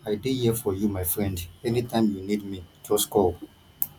i dey here for you my friend anytime you need me just call